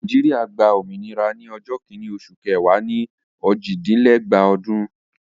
Nàìjíríà gba òmìnira ní ọjọ́ kìíní oṣù kẹwàá ni òjìdínlẹ́gbàá ọdún.